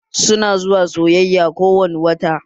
Su na zuwa sayayya ko wani wata